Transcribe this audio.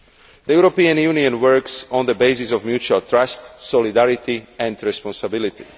The European Union works on the basis of mutual trust, solidarity and responsibility.